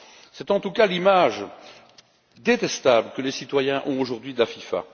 C'est en tout cas l'image détestable que les citoyens ont aujourd'hui de la FIFA.